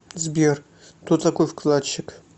сбер кто такой вкладчик